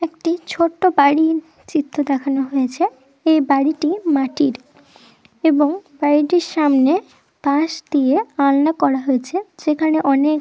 একটি ছোট্ট বাড়ির চিত্র দেখানো হয়েছে। এই বাড়িটি মাটির এবং বাড়িটির সামনে পাশ দিয়ে আলনা করা হয়েছে যেখানে অনেক --